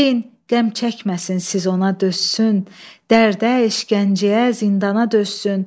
Deyin qəm çəkməsin, siz ona dözsün, dərdə, işgəncəyə, zindana dözsün.